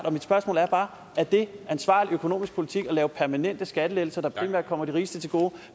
og mit spørgsmål er bare er det ansvarlig økonomisk politik at give permanente skattelettelser der primært kommer de rigeste til gode